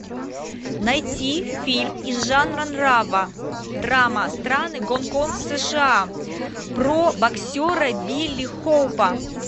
найти фильм из жанра драма страны гонконг сша про боксера билли хоупа